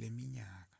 leminyaka